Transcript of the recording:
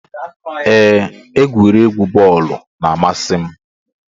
Ee, egwuregwu bọọlu na-amasi m